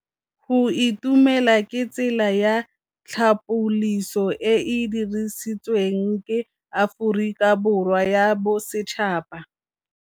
Go itumela ke tsela ya tlhapolisô e e dirisitsweng ke Aforika Borwa ya Bosetšhaba.